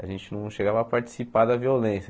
A gente não chegava a participar da violência.